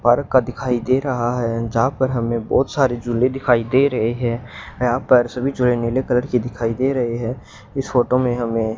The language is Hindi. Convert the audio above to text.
भारत का दिखाई दे रहा है जहां पर हमें बहोत सारी झूले दिखाई दे रहे हैं यहां पर सभी झूले नीले कलर की दिखाई दे रहे हैं इस फोटो में हमें --